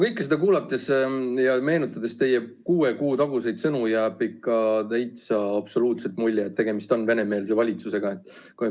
Kõike seda kuulates ja meenutades teie kuue kuu taguseid sõnu, jääb ikka absoluutselt mulje, et tegemist on venemeelse valitsusega.